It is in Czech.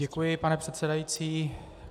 Děkuji, pane předsedající.